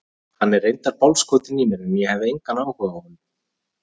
Hann er reyndar bálskotinn í mér en ég hef engan áhuga á honum.